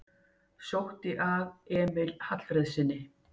Sótt að Emil Hallfreðssyni